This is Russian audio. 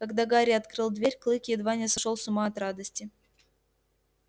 когда гарри открыл дверь клык едва не сошёл с ума от радости